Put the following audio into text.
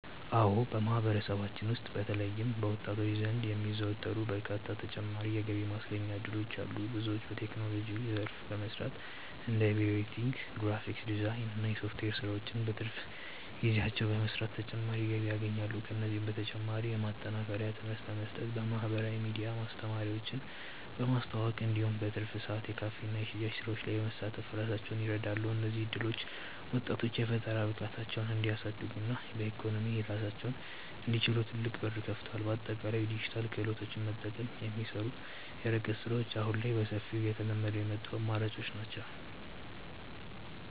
አዎ በማህበረሰባችን ውስጥ በተለይም በወጣቶች ዘንድ የሚዘወተሩ በርካታ ተጨማሪ የገቢ ማስገኛ እድሎች አሉ። ብዙዎች በቴክኖሎጂው ዘርፍ በመሰማራት እንደ ቪዲዮ ኤዲቲንግ፣ ግራፊክስ ዲዛይን እና የሶፍትዌር ስራዎችን በትርፍ ጊዜያቸው በመስራት ተጨማሪ ገቢ ያገኛሉ። ከእነዚህም በተጨማሪ የማጠናከሪያ ትምህርት በመስጠት፣ በማህበራዊ ሚዲያ ማስታወቂያዎችን በማስተዋወቅ እንዲሁም በትርፍ ሰዓት የካፌና የሽያጭ ስራዎች ላይ በመሳተፍ ራሳቸውን ይረዳሉ። እነዚህ እድሎች ወጣቶች የፈጠራ ብቃታቸውን እንዲያሳድጉና በኢኮኖሚ ራሳቸውን እንዲችሉ ትልቅ በር ከፍተዋል። በአጠቃላይ የዲጂታል ክህሎትን በመጠቀም የሚሰሩ የርቀት ስራዎች አሁን ላይ በሰፊው እየተለመዱ የመጡ አማራጮች ናቸው።